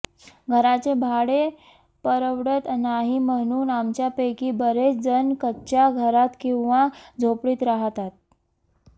घराचे भाडे परवडत नाही म्हणून आमच्यापैकी बरेच जण कच्च्या घरात किंवा झोपडीत राहातात